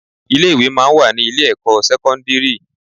Ilé-ìwé máa ń wà ní ilé-ẹ̀kọ́ sẹ́kọ́ndírì